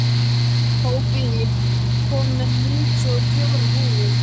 Hófí, ég kom með níutíu og fjórar húfur!